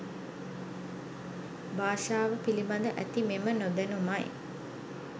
භාෂාව පිළිබඳ ඇති මෙම නොදැනුමයි.